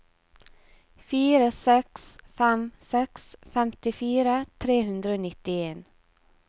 fire seks fem seks femtifire tre hundre og nittien